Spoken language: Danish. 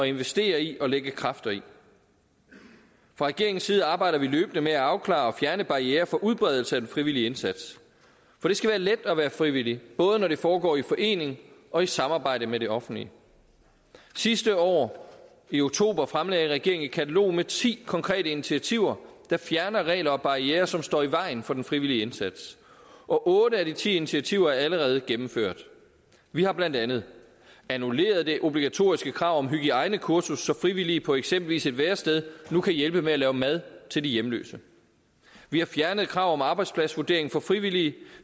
investere i og lægge kræfter i fra regeringens side arbejder vi løbende med at afklare og fjerne barrierer for udbredelse af den frivillige indsats for det skal være let at være frivillig både når det foregår i forening og i samarbejde med det offentlige sidste år i oktober fremlagde regeringen et katalog med ti konkrete initiativer der fjerner regler og barrierer som står i vejen for den frivillige indsats og otte af de ti initiativer er allerede gennemført vi har blandt andet annulleret det obligatoriske krav om hygiejnekursus så frivillige på eksempelvis et værested nu kan hjælpe med at lave mad til de hjemløse vi har fjernet krav om arbejdspladsvurdering for frivillige